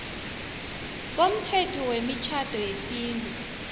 komthetho wemitjhado yesintu